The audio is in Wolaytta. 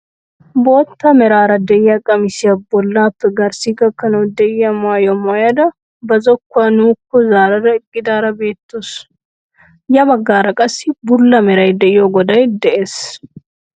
Bootta meraara de'iyaa qamisiyaa bollappe garssi gakkanawu de'iyaa maayuwaa maayada ba zokkuwaa nuukko zaarada eqqidaara beettawus. ya baggara qassi bulla meray de'iyoo goday de'ees.